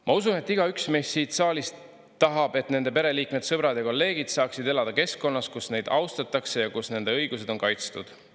Ma usun, et igaüks meist siit saalist tahab, et nende pereliikmed, sõbrad ja kolleegid saaksid elada keskkonnas, kus neid austatakse ja kus nende õigused on kaitstud.